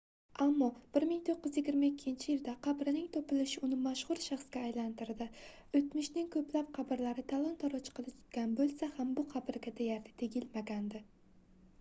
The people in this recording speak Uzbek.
ammo 1922-yilda qabrining topilishi uni mashhur shaxsga aylantirdi oʻtmishning koʻplab qabrlari talon-taroj qilingan boʻlsa ham bu qabrga deyarli tegilmagandi